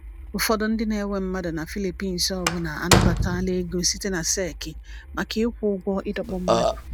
Ụfọdụ ndị na-ewe mmadụ na Philippines ọbụna anabatala ego site na tseki maka ịkwụ ụgwọ ịdọkpụ mmadụ.